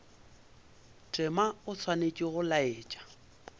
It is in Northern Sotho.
tema o swanetše go laetša